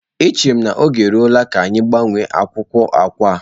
Echere m na oge eruola ka anyị gbanwee akwụkwọ akwa a.